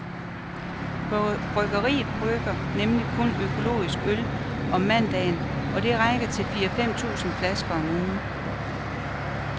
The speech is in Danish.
Bryggeriet brygger nemlig kun økologisk øl om mandagen, og det rækker til fire fem tusind flasker om ugen.